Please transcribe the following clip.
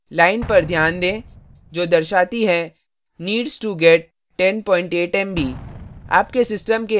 line पर ध्यान दें जो दर्शाती है needs to get 108 mb